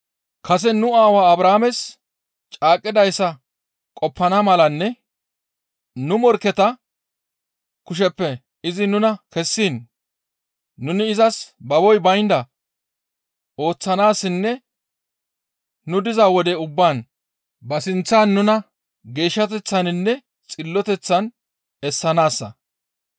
Kase nu aawaa Abrahaames caaqqidayssa qoppana malanne nu morkketa kusheppe izi nuna kessiin nuni izas baboy baynda ooththanaassinne nu diza wode ubbaan ba sinththan nuna geeshshateththaninne xilloteththan essanaassa.